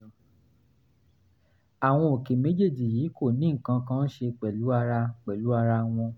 àwọn òkè méjèèjì yìí kò ní nǹkan kan ṣe pẹ̀lú ara pẹ̀lú ara wọn